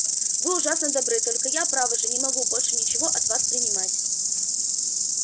вы ужасно добры только я право же не могу больше ничего от вас принимать